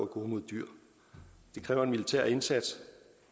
gode mod dyr det kræver en militær indsats